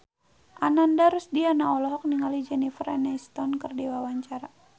Ananda Rusdiana olohok ningali Jennifer Aniston keur diwawancara